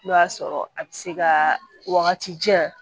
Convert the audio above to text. N'o y'a sɔrɔ a bɛ se ka wagati jan